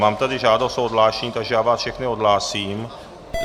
Mám tady žádost o odhlášení, takže já vás všechny odhlásím.